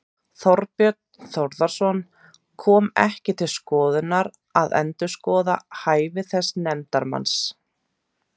Þorbjörn Þórðarson: Kom ekki til skoðunar að endurskoða hæfi þessa nefndarmanns?